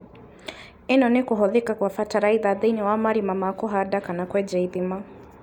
ĩno nĩ kũhũthĩka kwa bataraitha thĩinĩ wa marima ma kũhanda kana kwenja ithima